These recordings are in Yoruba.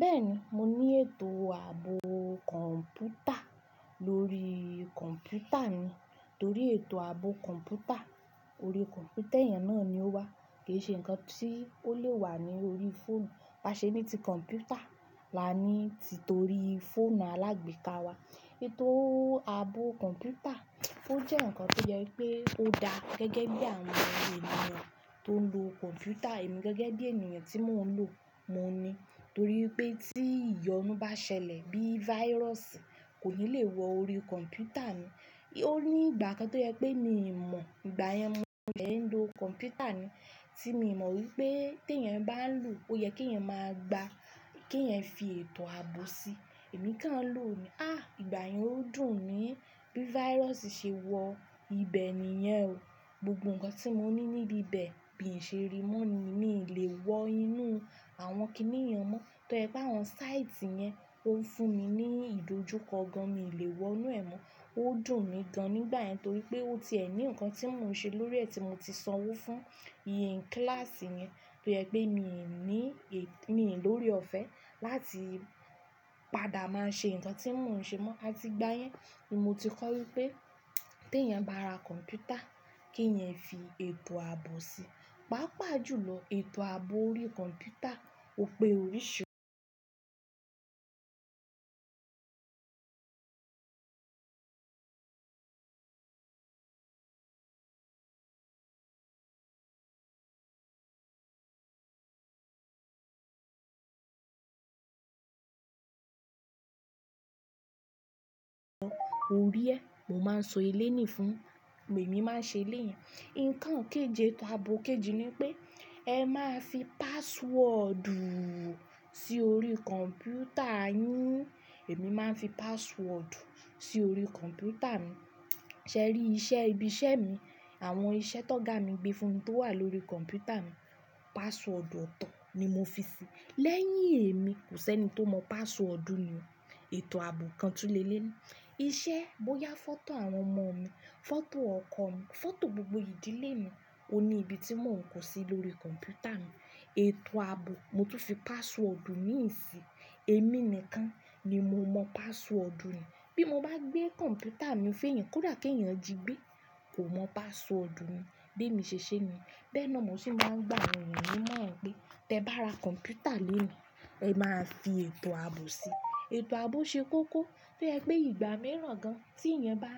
Bẹ́ẹ̀ni, mo ní ètò ààbò kọ̀ǹpútà lórí kọ̀ǹpútà mi, torí ètò ààbò kọ̀ǹpútà orí kọ̀ǹpútà ẹ̀yẹn náà ni ó wà. Kì í ṣe ǹkan tí ó lè wà ní orí fóònù. Baṣẹ nií ti kọ̀ǹpútà la ní ti torí fóònù alágbèéká wa. Ètò ààbò kọ̀ǹpútà ó jẹ́ ǹkan tó jẹ́ pé ó da gẹ́gẹ́ bí àwọn ènìyàn tó ń lo kọ̀ǹpútà, èmi gẹ́gẹ́ bí ènìyàn tí mò ń lò, mo ní. Torí wipé tí ìyọnu bá ṣẹlẹ̀ bí virus kò ní lè wọ orí kọ̀ǹpútà mi. Ó ní ìgbà kan tó jẹ́ pé mi mọ̀, ìgbà yẹn mo sẹ́ ń lo kọ̀ǹpútà ni tí mi mọ̀ wípé tí ẹ̀yẹn bá ń lo, ó yẹ kí ẹ̀yan máa gba kí ẹ̀yan fi ètò ààbò si. Ẹ̀mí kan lò ó ní, "á ìgbà yẹn ó dùn mí bí virus ṣe wọ ìbẹ̀ nìyẹn o. Gbogbo ǹkan tí mo ní níbí bẹ̀ bin ṣe rimọ ni, mi ò lè wọ inú àwọn kìíníyen mọ́. Tọ́ yepe àwọn sáìtì yẹn ó ń fún mi ní ìdojúkọ gan, mi ò lè wọ inú ẹ̀ mọ́. Ó dùn mí gan nígbà yẹn torí pé ó ti ẹ̀ ní ǹkan tí mò ń ṣe lórí rẹ̀ tí mo ti sanwó fún. Kílàsì yẹn tó jẹ́ pé mi ò ní, mi ò lóre ọ̀fẹ́ láti padà máa ṣe ǹkan tí mò ń ṣe mọ́." A ti gbá yẹn, ni mo ti kọ̀ wípé tí ẹ̀yan bá ra kọ̀ǹpútà kí ẹ̀yan fi ètò ààbò si. Pàápàá jùlọ ètò ààbò orí kọ̀ǹpútà ò pé oríṣiríṣi. Òrí ẹ, mo máa ń sọ elénìí fún, èmi máa ń ṣe elénìí. Ǹkan kéje, ètò ààbò kejì ni pé ẹ máa fi páswọ́ọ̀dù sí orí kọ̀ǹpútà yín. Ẹ̀mí máa ń fi páswọ́ọ̀dù sí orí kọ̀ǹpútà mi. Sẹ́rí iṣẹ́ ibi iṣẹ́ mi, àwọn iṣẹ́ tó ga mi gbé fún mi tó wà lórí kọ̀ǹpútà mi, páswọ́ọ̀dù ọ̀tọ̀ ni mo fi sí. Lẹ́yìn èmi kò sí ẹni tó mọ páswọ́ọ̀dù nìyẹn. Ètò ààbò kan tú lé lé ní. Iṣẹ́, bóyá fọ́tò àwọn ọmọ mi, fọ́tò ọkọ mi, fọ́tò gbogbo ìdílé mi, ó ní ibi tí mò ń kọ̀ sí lórí kọ̀ǹpútà mi. Ètò ààbò mo tún fi páswọ́ọ̀dù miì sì, èmi nìkan ni mo mọ páswọ́ọ̀dù ni Bí mo bá gbé kọ̀ǹpútà mi fun eyan kódà kí ẹ̀yan ji gbé, kò mọ páswọ́ọ̀dù mi, bí èmi ṣe ṣe ni. Bẹ́ẹ̀ náà mo sì máa ń gbà àwọn ènìyàn ní ìmoran pé, "tẹ bá ra kọ̀ǹpútà lónìí, ẹ máa fi ètò ààbò sí" Ètò ààbò ṣe kókó tó jẹ́ pé ìgbà mìíràn gan tí ẹ̀yan bá,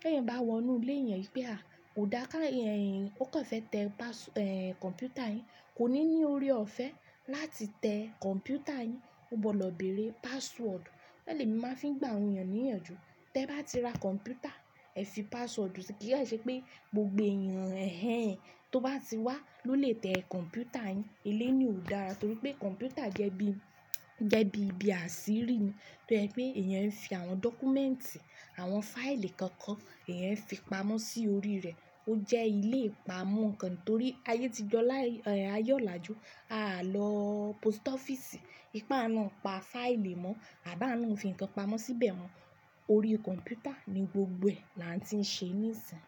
tí ẹ̀yan bá wọ inú ilé yan pé, "à kó dá ká ẹ̀yin, ó kàn fẹ́ tẹ kọ̀ǹpútà yín, kò ní ní ore ọ̀fẹ́ láti tẹ kọ̀ǹpútà yín. Ó gbọdọ̀ bẹ̀rẹ̀ páswọ́ọ̀dù." Bẹ́ẹ̀ ni mo màá fi ń gbà àwọn ènìyàn ní ìyànjú. Tẹ bá ti ra kọ̀ǹpútà, ẹ fi páswọ́ọ̀dù sí i kí ó ṣe pé gbogbo ẹ̀yàn ẹ̀hẹ̀ẹn tó bá ti wá ló lè tẹ kọ̀ǹpútà yín. Elénìí ò dára torí pé kọ̀ǹpútà jẹ́ bí, jẹ́ bí ibi àṣírí ni. Torí ẹ pé ẹ̀yan ń fi àwọn dọ́kúmẹ́ǹtì, àwọn fáìlì kankan ẹ̀yan ń e fi pamọ́ sí orí rẹ̀. Ó jẹ́ ilé ìpamọ́ kan torí ayé ti di áye olájú. A à lọ pósítọ́fíìsì, wipe a lo pa fáìlì mọ́, àbi áà lo n fi ǹkan pamọ́ síbẹ̀ mọ́. Orí kọ̀ǹpútà ni gbogbo ẹ̀ la ń ti ṣe níìsín.